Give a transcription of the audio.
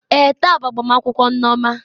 Èè, taa bụ agbamakwụkwọ Nneoma.